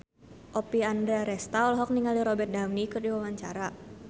Oppie Andaresta olohok ningali Robert Downey keur diwawancara